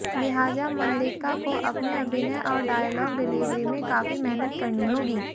लिहाजा मल्लिका को अपने अभिनय और डायलॉग डिलीवरी में काफी मेहनत करनी होगी